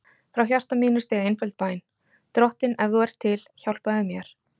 Frá hjarta mínu steig einföld bæn: Drottinn, ef þú ert til, hjálpaðu mér.